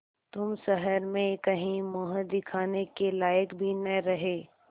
तुम शहर में कहीं मुँह दिखाने के लायक भी न रहे